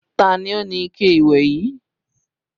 Ta ni ó ní ike ìwẹ̀ yìí?